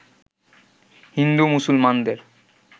হিন্দু-মুসলমানদের